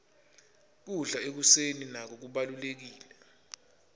kudla ekuseni nako kubalulekile